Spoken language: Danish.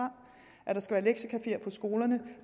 at der skal være lektiecafeer på skolerne